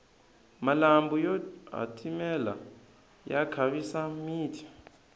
malambhu yo hatimela ya khavisa miti